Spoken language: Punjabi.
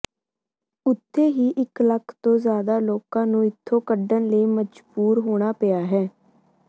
ਉੱਥੇ ਹੀ ਇਕ ਲੱਖ ਤੋਂ ਜ਼ਿਆਦਾ ਲੋਕਾਂ ਨੂੰ ਇੱਥੋਂ ਕੱਢਣ ਲਈ ਮਜਬੂਰ ਹੋਣਾ ਪਿਆ ਹੈ